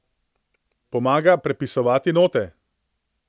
Pomaga prepisovati note.